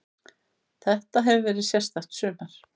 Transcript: Þetta hefur verið sérstakt sumar.